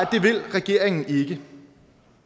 regeringen ikke de